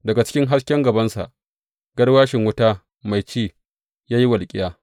Daga cikin hasken gabansa garwashi wuta mai ci ya yi walƙiya.